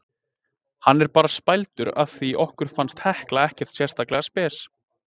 Hann er bara spældur af því okkur fannst Hekla ekkert sérstaklega spes.